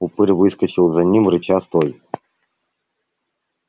упырь выскочил за ним рыча стой